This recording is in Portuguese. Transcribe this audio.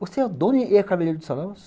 Você é dono e é cabeleireiro do salão?